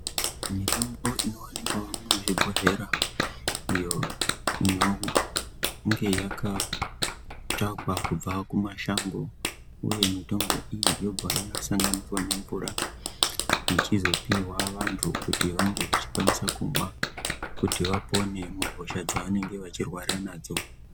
Mitombo inowanikwawo muzvibbhodhlera iyo inenge yakatsvakwa kubva kumashango uye mitombo iyi yaibva yasanganiswa nemvura ichizooigwa vantu kuti kukwanisa kuba kuhosha dzavanenge vachirwara nazvo.